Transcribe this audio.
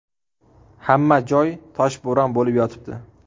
Hamma joy toshbo‘ron bo‘lib yotibdi.